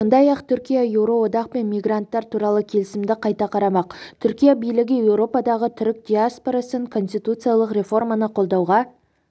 сондай-ақ түркия еуроодақпен мигранттар туралы келісімді қайта қарамақ түркия билігі еуропадағы түрік диаспорасын конституциялық реформаны қолдауға